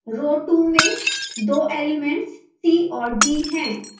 row 2 में दो elements c और d हैं